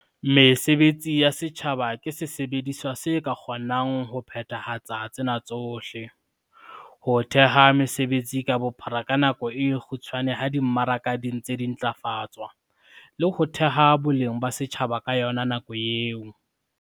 Mesebetsi ya setjhaba ke sesebediswa se ka kgonang ho phethahatsang tsena tsohle- ho theha mesebetsi ka bophara ka nako e kgutshwane ha di mmaraka di ntse di ntlafatswa, le ho theha boleng ba setjhaba ka yona nako eo.